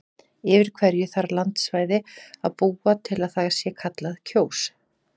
Yfir hverju þarf landsvæði að búa til að það sé kallað Kjós?